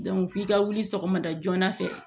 f'i ka wuli sɔgɔmada joona fɛ